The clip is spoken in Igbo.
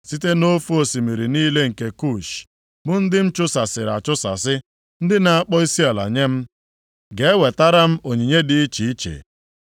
Site nʼofe osimiri niile nke Kush, + 3:10 Maọbụ, Itiopia bụ ndị m a chụsasịrị achụsasị, ndị na-akpọ isiala nye m, ga-ewetara m onyinye dị iche iche.